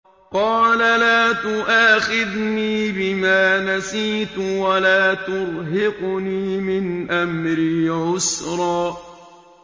قَالَ لَا تُؤَاخِذْنِي بِمَا نَسِيتُ وَلَا تُرْهِقْنِي مِنْ أَمْرِي عُسْرًا